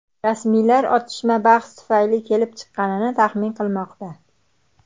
Rasmiylar otishma bahs tufayli kelib chiqqanini taxmin qilmoqda.